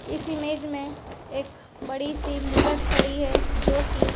इस इमेज में एक बड़ी सी मूरत खड़ी है जो कि --